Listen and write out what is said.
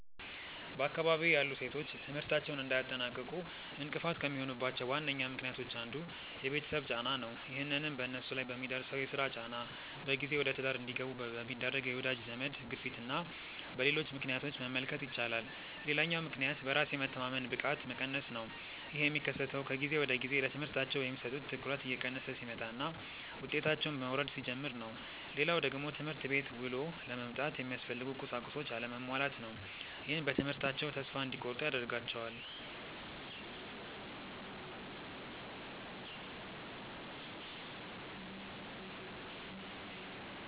በአካባቢዬ ያሉ ሴቶች ትምህርታቸውን እንዳያጠናቅቁ እንቅፋት ከሚሆኑባቸው ዋነኛ ምክንያቶች አንዱ የቤተሰብ ጫና ነው። ይህንንም በነሱ ላይ በሚደርሰው የስራ ጫና፣ በጊዜ ወደትዳር እንዲገቡ በሚደረግ የወዳጅ ዘመድ ግፊትና በሌሎች ምክንያቶች መመልከት ይቻላል። ሌላኛው ምክንያት በራስ የመተማመን ብቃት መቀነስ ነው። ይህ የሚከሰተው ከጊዜ ወደጊዜ ለትምህርታቸው የሚሰጡት ትኩረት እየቀነሰ ሲመጣና ውጤታቸውም መውረድ ሲጀምር ነው። ሌላው ደግሞ ትምህርት ቤት ውሎ ለመምጣት የሚያስፈልጉ ቁሳቁሶች አለመሟላት ነው። ይህም በትምህርታቸው ተስፋ እንዲቆርጡ ያደርጋቸዋል።